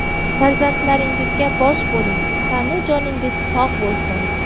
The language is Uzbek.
Farzandlaringizga bosh bo‘ling, tanu joningiz sog‘ bo‘lsin.